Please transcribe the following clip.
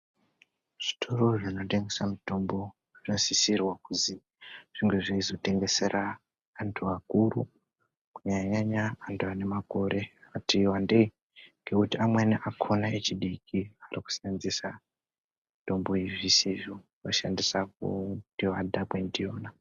Zvitoro zvinotengesa mutombo zvakasisirwa kuzi zvinge zveizvotengesera antu akuru. Kunyanya-nyanya antu ane makore akati vandei. Ngekuti amweni akona echidiki ari kusenzesa mitombo iyi zvisizvo kushandisa kuti vadhakwe ndiyona.